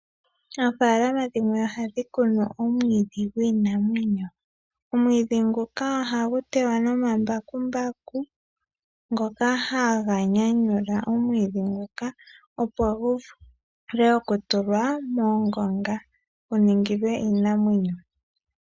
Oofaalama dhimwe oha dhi kunu omwiidhi gwiinamwenyo. Omwiidhi nguka ohagu tewa nomambakumbaku ngoka haga nyanyula omwiidhi nguka opo gu vule oku tulwa moongonga gu ningilwe iinamwenyo.